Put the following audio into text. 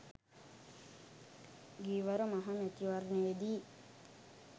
ගියවර මහ මැතිවරණයේදී